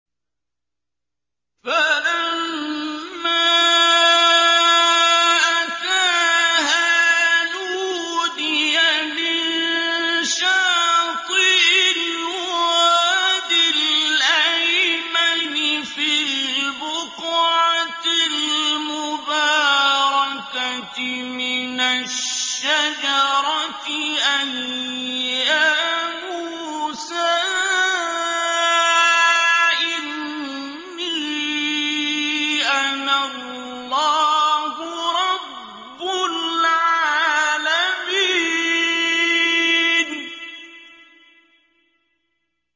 فَلَمَّا أَتَاهَا نُودِيَ مِن شَاطِئِ الْوَادِ الْأَيْمَنِ فِي الْبُقْعَةِ الْمُبَارَكَةِ مِنَ الشَّجَرَةِ أَن يَا مُوسَىٰ إِنِّي أَنَا اللَّهُ رَبُّ الْعَالَمِينَ